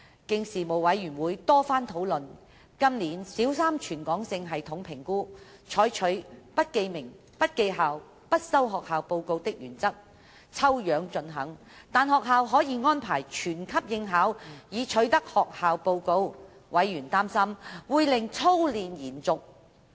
經事務委員會多番討論，今年小三全港性系統評估，採取"不記名、不記校、不收學校報告"的原則，抽樣進行，但學校可以安排全級應考，以取得學校報告，委員擔心會令操練延續。